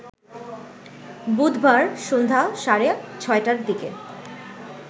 বুধবার সন্ধ্যা সাড়ে ৬টার দিকে